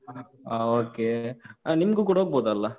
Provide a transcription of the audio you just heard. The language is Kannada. ಹಾ. okay ಆಹ್, ನಿಮ್ಗೂ ಕೂಡ ಹೋಗ್ಬೋದಲ್ಲಾ?